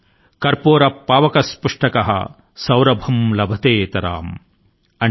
కర్పూరః పావక్ స్పృష్టః సౌరభం లభ్తేతరామ్ ||